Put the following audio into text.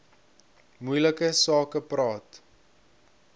moeilike sake praat